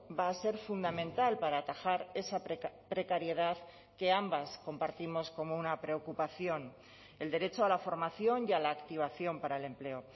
va a ser fundamental para atajar esa precariedad que ambas compartimos como una preocupación el derecho a la formación y a la activación para el empleo